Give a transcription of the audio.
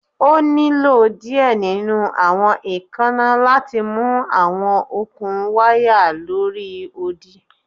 O nilo diẹ ninu awọn eekanna lati mu awọn okun waya lori odi